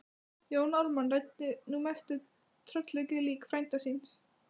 Jón Ármann ræddi nú mest við tröllaukið lík frænda síns.